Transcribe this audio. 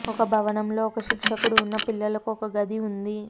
ఒక భవనంలో ఒక శిక్షకుడు ఉన్న పిల్లలకు ఒక గది ఉంది